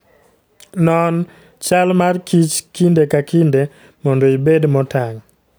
Non chal mar kich kinde ka kinde mondo ibed motang'.